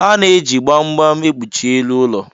Ana-eji gbam gbam ekpuchi elu ụlọ.